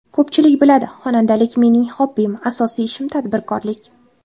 Ko‘pchilik biladi, xonandalik mening xobbim, asosiy ishim tadbirkorlik.